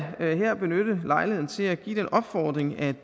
her benytte lejligheden til at give den opfordring at